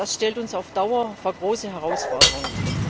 Das stellt uns auf Dauer vor große Herausforderungen.